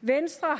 venstre